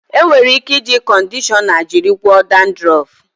E nwere ike iji kọndishọna jiri gwọọ dandrọf.